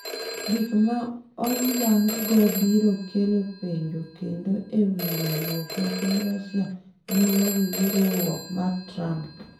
Gik ma oyang’go biro kelo penjo kendo e wi winjruok ma piny Russia nigo gi riwruok mar Trump.